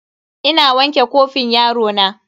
Ina wanke kofin yarona.